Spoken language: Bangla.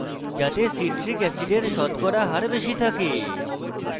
কোল্ড ড্রিঙ্কস যাতে সিট্রিক অ্যাসিডের শতকরা হার বেশি থাকে